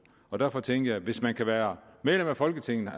derfor tænker jeg at hvis man kan være medlem af folketinget